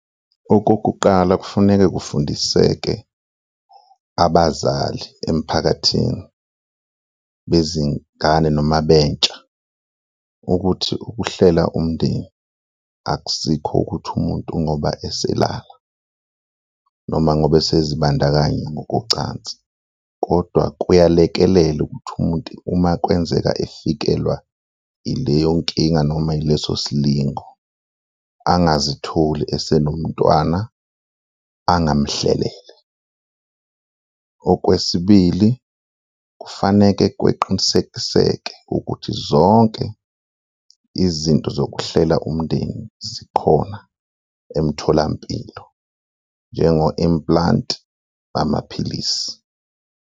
Okokuqala kufuneke kufundiseke abazali emphakathini bezingane noma bentsha ukuthi ukuhlela umndeni akusikho ukuthi umuntu ngoba eselala noma ngoba esezibandakanya ngokocansi kodwa kuyalekelela ukuthi umuntu uma kwenzeka efikelwa ileyo nkinga noma yileso silingo, angazitholi esenomntwana angamhlelele. Okwesibili, kufaneke kweqiniseke ukuthi zonke izinto zokuhlela umndeni zikhona emtholampilo, njengo-implant, amaphilisi.